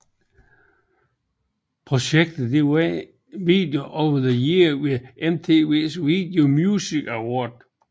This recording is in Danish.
Projektet vandt Video of the Year ved MTV Video Music Award